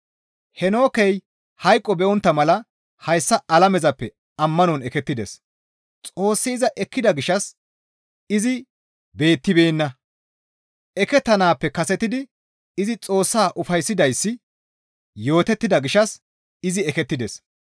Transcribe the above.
Heenookey hayqo be7ontta mala hayssa alamezappe ammanon ekettides; Xoossi iza ekkida gishshas izi beettibeenna; ekettanaappe kasetidi izi Xoossaa ufayssidayssi yootettida gishshas izi ekettides.